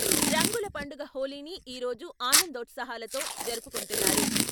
రంగుల పండుగ హోళీని ఈరోజు ఆనందోత్సాహాలతో జరుపుకుంటున్నారు.